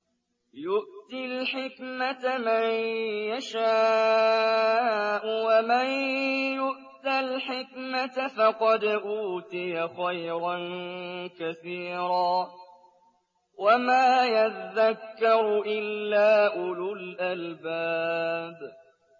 يُؤْتِي الْحِكْمَةَ مَن يَشَاءُ ۚ وَمَن يُؤْتَ الْحِكْمَةَ فَقَدْ أُوتِيَ خَيْرًا كَثِيرًا ۗ وَمَا يَذَّكَّرُ إِلَّا أُولُو الْأَلْبَابِ